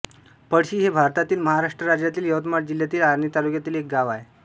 पळशी हे भारतातील महाराष्ट्र राज्यातील यवतमाळ जिल्ह्यातील आर्णी तालुक्यातील एक गाव आहे